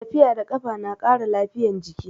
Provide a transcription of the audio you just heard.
Tafiya da kafa na ƙara lafiyan jiki